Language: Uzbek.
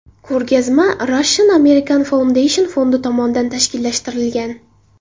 Ko‘rgazma Russian American Foundation fondi tomonidan tashkillashtirilgan.